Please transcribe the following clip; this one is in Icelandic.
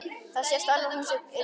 Það sést alveg að hún er í ballett.